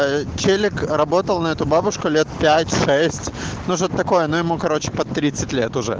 телек работал на эту бабушку лет пять-шесть нужно такое но ему короче под лет